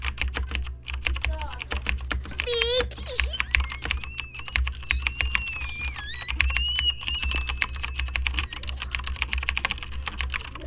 Hvíl í friði, Rakel frænka.